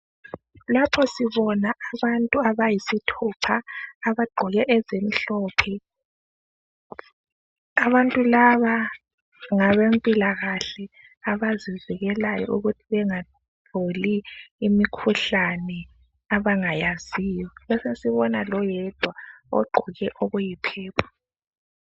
Lapho sibona abantu abayisithupha abagqoke ezimhlophe. Abantu laba ngabempilakahle abazivikelayo ukuthi bengatholi imikhuhlane abangayaziyo, besesibona loyedwa ogqoke okuyi purple.